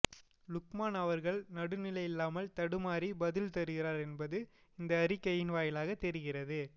லுக்மான் அவர்கள் நடுநிலை இல்லாமல் தடுமாறி பதில் தருகிறார் என்பது இந்த அறிகையின் வாயிலாக தெரிகிறது